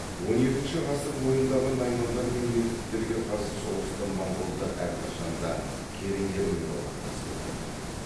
он екінші ғасыр бойындағы наймандар мен меркіттерге қарсы соғыста монғолдар әрқашанда керейлермен одақтасып отырды